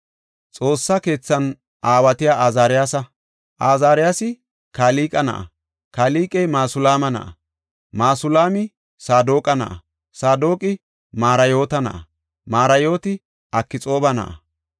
Xoossa keethan aawatiya Azaariyasa. Azaariyasi Kalqe na7a; Kalqey Masulaama na7a; Masulaami Saadoqa na7a; Saadoqi Mariyoota na7a; Mariyooti Akxooba na7a.